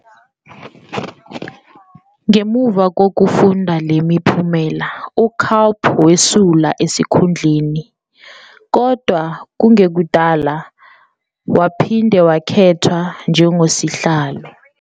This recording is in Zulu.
Ngemuva kokufunda le miphumela, uCalp wesula esikhundleni, kodwa kungekudala waphinde wakhethwa njengosihlalo.